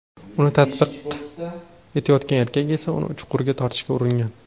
Uni ta’qib etayotgan erkak esa uni chuqurga tortishga uringan.